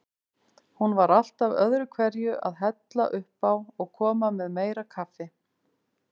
Hún var alltaf öðruhverju að hella uppá og koma með meira kaffi.